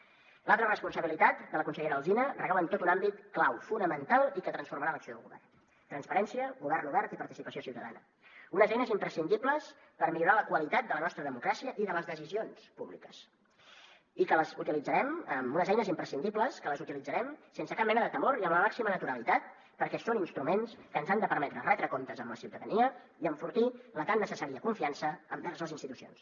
l’altra responsabilitat de la consellera alsina recau en tot un àmbit clau fonamental i que transformarà l’acció del govern transparència govern obert i participació ciutadana unes eines imprescindibles per millorar la qualitat de la nostra democràcia i de les decisions públiques unes eines imprescindibles que les utilitzarem sense cap mena de temor i amb la màxima naturalitat perquè són instruments que ens han de permetre retre comptes amb la ciutadania i enfortir la tan necessària confiança envers les institucions